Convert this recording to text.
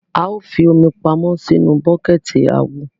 A o fí omi pamọ sínú buketi awọ